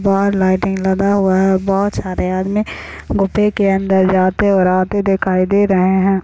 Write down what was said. बाहर लाइटिंग लगा हुआ है बहुत सारे आदमी गुफे के अंदर जाते और आते दिखाई दे रहे है।